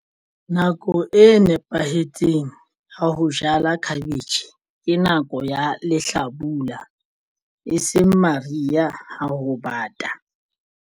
Nako e nepahetseng ha ho jala cabbage ke nako ya lehlabula e seng maria ha ho bata.